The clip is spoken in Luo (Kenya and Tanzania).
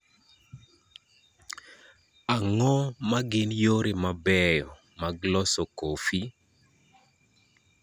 Ang�o ma gin yore mabeyo mag loso kofi?